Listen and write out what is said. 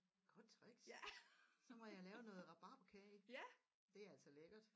Godt tricks så må jeg lave noget rabarberkage det er altså lækkert